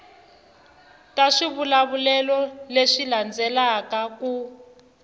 ta swivulavulelo leswi landzelaka ku